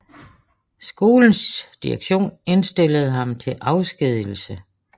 Skolens direktion indstillede ham til afskedigelse